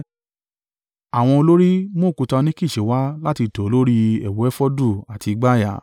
Àwọn olórí mú òkúta óníkìsì wá láti tò ó lórí ẹ̀wù efodu àti ìgbàyà.